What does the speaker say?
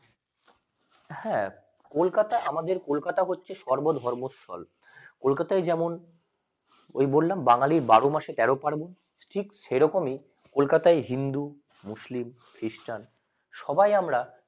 হ্যাঁ কলকাতা আই আমাদের কলকাতা হচ্ছে সর্ব ধর্ম স্থল কলকাতা আই যেমন ওই ওই বললাম বাঙালি বারো মাসে তেরো পার্বণ ঠিক সেরকমই কলকাতা আই হিন্দু মুসলিম খ্রিস্টান সবাই আমরা